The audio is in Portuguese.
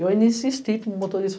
Eu ainda insisti para o motorista.